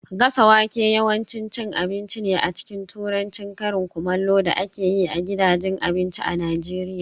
Gasa wake yawanci cin abinci ne a cikin Turancin karin kumallo da ake yi a gidajen abinci a Najeriya